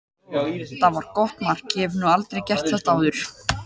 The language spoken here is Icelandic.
Þetta var gott mark, ég hef nú aldrei gert þetta áður.